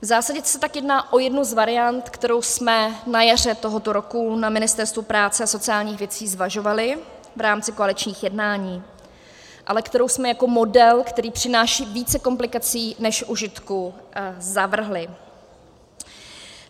V zásadě se tak jedná o jednu z variant, kterou jsme na jaře tohoto roku na Ministerstvu práce a sociálních věcí zvažovali v rámci koaličních jednání, ale kterou jsme jako model, který přináší více komplikací než užitku, zavrhli.